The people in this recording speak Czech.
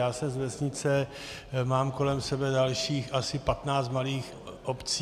Já jsem z vesnice, mám kolem sebe dalších asi 15 malých obcí.